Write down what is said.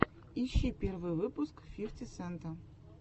ищи первый выпуск фифти сента